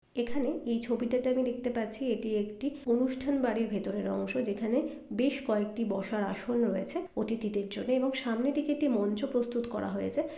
এখনে এই ছবিটাতে আমি দেখতে পাচ্ছি এটি একটি অনুষ্ঠান বাড়ির ভেতরের অংশ যেখানে বেশ কয়েকটি বসার আসন রয়েছে অতিথিদের জন্য এবং সামনে দিকে একটি মঞ্চ প্রস্তুত করা হয়েছে।